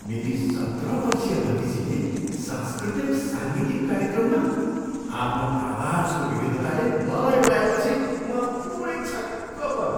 मेरी सत्र वर्षीया भतिजीले सांस्कृतिक साङ्गीतिक कार्यक्रममा आफ्नो आवाजको विविधताले मलाई उडाएपछि म पुरै छक्क परेँ।